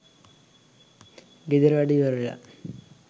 ගෙදර වැඩ ඉවර වෙලා